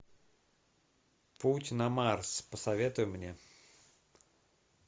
путь на марс посоветуй мне